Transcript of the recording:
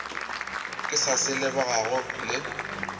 ke sa se lebogago le